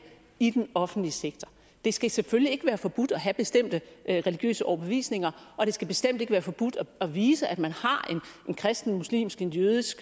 i den offentlige sektor det skal selvfølgelig ikke være forbudt at have bestemte religiøse overbevisninger og det skal bestemt ikke være forbudt at vise at man har en kristen muslimsk jødisk